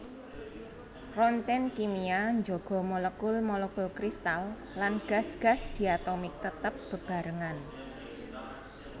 Roncèn kimia njaga molekul molekul kristal lan gas gas diatomik tetep bebarengan